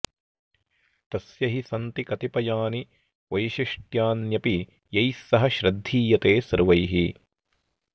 तस्य हि सन्ति कतिपयानि वैशिष्टयान्यपि यैः स श्रद्धीयते सर्वैः